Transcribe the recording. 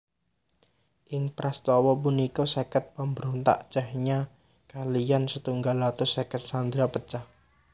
Ing prastawa punika seket pambrontak Chechnya kaliyan setunggal atus seket sandera pejah